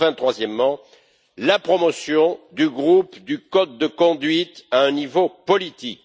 Enfin, troisièmement, la promotion du groupe du code de conduite à un niveau politique.